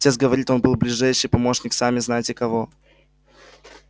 отец говорит он был ближайший помощник сами знаете кого